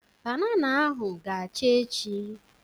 Banana ahụ ga-acha echi.